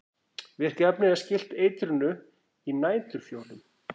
virka efnið er skylt eitrinu í næturfjólum